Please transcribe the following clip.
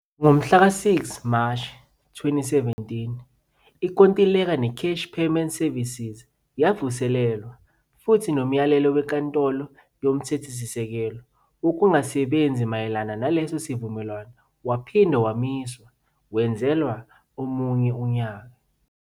Ngomhlaka 6 Mashi 2017, inkontileka neCash Paymaster Services yavuselelwa, futhi nomyalelo weNkantolo Yomthethosisekelo wokungasebenzi mayelana naleso sivumelwano waphinde wamiswa, wenzela omunye unyaka.